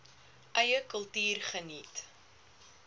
eie kultuur geniet